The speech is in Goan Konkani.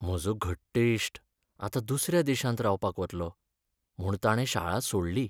म्हजो घट्ट इश्ट आतां दुसऱ्या देशांत रावपाक वतलो, म्हूण ताणें शाळा सोडली.